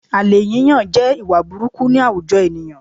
Àlè yíyàn jẹ́ ìwà burukú ní àwujọ ènìyàn